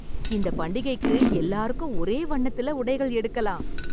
இந்த பண்டிகைக்கு எல்லாருக்கும் ஒரே வண்ணத்தில உடைகள் எடுக்கலாம்.